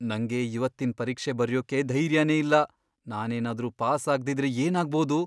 ನಂಗೆ ಇವತ್ತಿನ್ ಪರೀಕ್ಷೆ ಬರ್ಯೋಕೆ ಧೈರ್ಯನೇ ಇಲ್ಲ. ನಾನೇನಾದ್ರೂ ಪಾಸ್ ಆಗ್ದಿದ್ರೆ ಏನಾಗ್ಬೋದು?